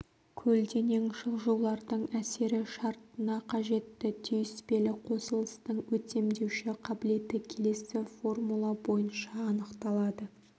көлденең жылжулардың әсері шарттына қажетті түйіспелі қосылыстың өтемдеуші қабілеті келесі формула бойынша анықталады